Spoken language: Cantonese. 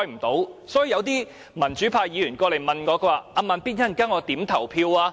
因此，一些民主派議員問我："'慢咇'，我稍後應該如何投票？